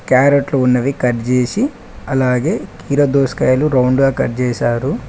క్యారేట్లు ఉన్నవి కట్జేసీ అలాగే కీరా దోస్కాయలు రౌండ్ గా కట్జేశారు.